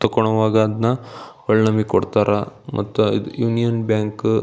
ತಕೊಳೋವಾಗ ಅದ್ನ ನಮಗೆ ಒಳ್ ನಮಗೆ ಕೊಡ್ತಾರಾ ಮತ್ತೆ ಯೂನಿಯನ್ ಬ್ಯಾಂಕ್ --